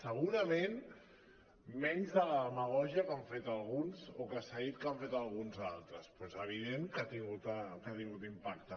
segurament menys de la demagògia que han fet alguns o que s’ha dit que han fet alguns altres però és evident que ha tingut impacte